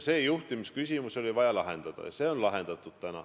See juhtimisküsimus oli vaja lahendada ja see on lahendatud.